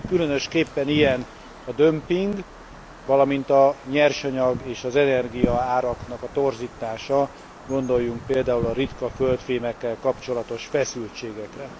Különösképpen ilyen a dömping, valamint a nyersanyag és az energiaáraknak a torzítása, gondoljunk például a ritka földfémekkel kapcsolatos feszültségekre.